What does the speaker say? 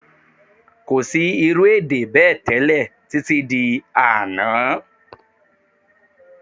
Kò sí irú èdè bẹ́ẹ̀ tẹ́lẹ̀ títí di àná